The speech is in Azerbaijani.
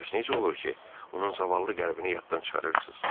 Bəs necə olur ki, onun zavallı qəlbini yaddan çıxarırsınız?